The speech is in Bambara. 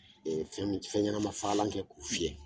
Fɛnɲɛnamafagalan kɛ k'u fiyɛ